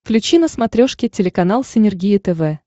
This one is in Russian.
включи на смотрешке телеканал синергия тв